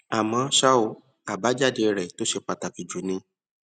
àmó ṣá o àbájáde rè tó ṣe pàtàkì jù ni